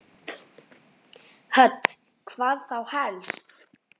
Hödd: Hvað þá helst?